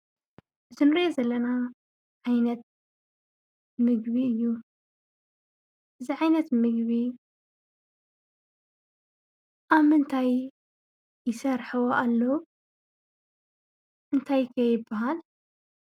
እዚ እንሪኦ ዘለና ዓይነት ምግቢ እዩ። እዚ ዓይነት ምግቢ ኣብ ምንታይ ይሰርሕዎ ኣለዉ? እንታይ ከ ይብሃል?